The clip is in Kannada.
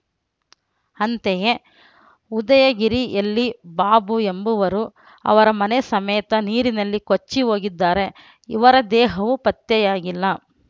ಅಂತೆಯೇ ಉದಯಗಿರಿಯಲ್ಲಿ ಬಾಬು ಎಂಬವರು ಅವರ ಮನೆ ಸಮೇತ ನೀರಿನಲ್ಲಿ ಕೊಚ್ಚಿ ಹೋಗಿದ್ದಾರೆ ಇವರ ದೇಹವೂ ಪತ್ತೆಯಾಗಿಲ್ಲ